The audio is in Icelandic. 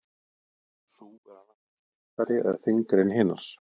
Sú er annað hvort léttari eða þyngri en hinar.